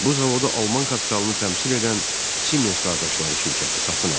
Bu zavodu Alman kapitalını təmsil edən Siemens qardaşları şirkəti satın aldı.